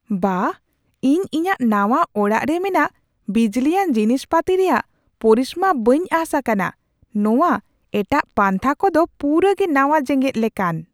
ᱵᱟᱦ, ᱤᱧ ᱤᱧᱟᱹᱜ ᱱᱟᱣᱟ ᱚᱲᱟᱜ ᱨᱮ ᱢᱮᱱᱟᱜ ᱵᱤᱡᱽᱞᱤᱭᱟᱱ ᱡᱤᱱᱤᱥ ᱯᱟᱹᱛᱤ ᱨᱮᱭᱟᱜ ᱯᱚᱨᱤᱥᱢᱟᱹ ᱵᱟᱹᱧ ᱟᱸᱥ ᱟᱠᱟᱱᱟᱼ ᱱᱚᱶᱟ ᱮᱴᱟᱜ ᱯᱟᱱᱛᱷᱟ ᱠᱚᱫᱚ ᱯᱩᱨᱟᱹ ᱜᱮ ᱱᱟᱣᱟ ᱡᱮᱜᱮᱫ ᱞᱮᱠᱟᱱ ᱾